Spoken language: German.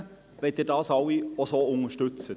Danke, wenn Sie alle dies so unterstützen.